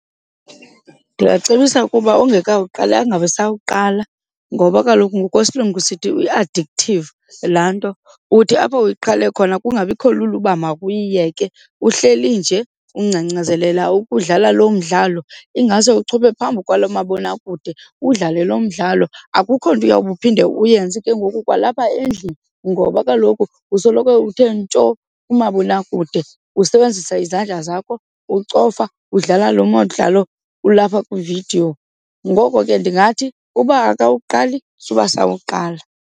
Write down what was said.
Ndingacebisa ukuba ongekawuqali angabisawuqala ngoba kaloku ngokwesilungu sithi i-addictive laa nto. Uthi apho uyiqale khona kungabikho lula ukuba makuyiyeke, uhleli nje ungcangcazelela ukuwudlala lo mdlalo, ingase uchophe phambi kwaloo mabonakude udlale lo mdlalo. Akukho nto uyobe uphinde uyenze ke ngoku kwalapha endlini ngoba kaloku usoloko uthe ntsho kumabonakude usebenzisa izandla zakho ucofa, udlala lo mdlalo ulapha kwiividiyo. Ngoko ke ndingathi uba awukawuqali suba sawuqala.